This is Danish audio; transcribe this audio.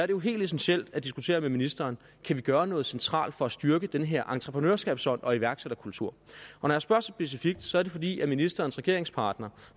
jo helt essentielt at diskutere med ministeren kan vi gøre noget centralt for at styrke den her entreprenørskabsånd og iværksætterkultur når jeg spørger så specifikt er det fordi ministerens regeringspartner